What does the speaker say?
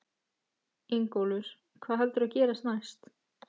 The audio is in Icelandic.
Ingólfur: Hvað heldurðu að gerist næst?